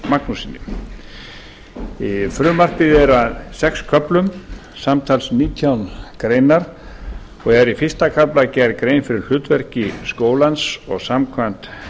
magnússyni frumvarpið er í sex köflum samtals nítján greinar og er í fyrsta kafla gerð grein fyrir hlutverki skólans og samkvæmt